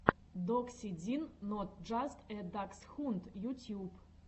докси дин нот джаст э даксхунд ютьюб